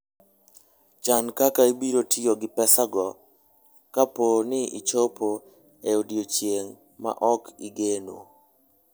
Chan kaka ibiro tiyo gi pesago kapo ni ochopo e odiechieng' ma ok igeno.